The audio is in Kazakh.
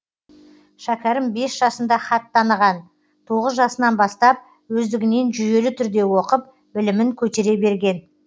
шәкерім бес жасында хат таныған тоғыз жасынан бастап өздігінен жүйелі түрде оқып білімін көтере берген